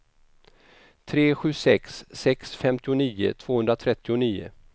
tre sju sex sex femtionio tvåhundratrettionio